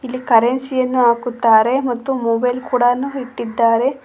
ಇಲ್ಲಿ ಕರೆನ್ಸಿ ಯನ್ನು ಹಾಕುತ್ತಾರೆ ಮತ್ತು ಮೊಬೈಲ್ ಕೂಡವನ್ನು ಇಟ್ಟಿದ್ದಾರೆ.